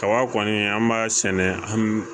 Kaba kɔni an b'a sɛnɛ an